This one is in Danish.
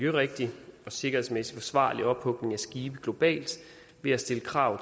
rigtig og sikkerhedsmæssig forsvarlig ophugning af skibe globalt ved at stille krav